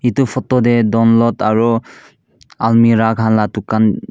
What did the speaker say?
edu photo tae donlot aro almera khanla dukan.